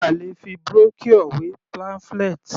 A lè fi Brochure wé pamphlet.